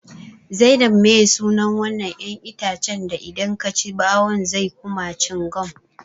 Zainab meye sunan wannan 'yan itacen da idan kaci bawun zai kuma cingam?